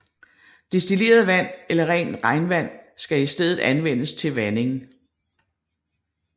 Destilleret vand eller rent regnvand skal i stedet anvendes til vanding